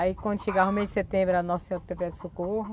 Aí quando chegava o mês de setembro era nosso Senhor socorro.